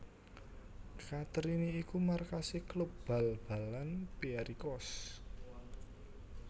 Katerini iku markasé klub bal balan Pierikos